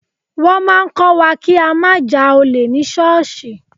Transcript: Wọ́n máa ń kọ́ wa kí á má ja olè ní ṣọ́ọ̀ṣì.